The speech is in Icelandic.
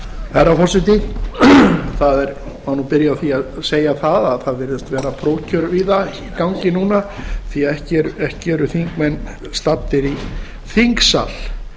herra forseti það má nú byrja á því að segja að það virðast vera prófkjör víða í gangi núna því ekki eru þingmenn staddir í þingsal